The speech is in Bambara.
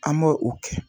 An b'o o kɛ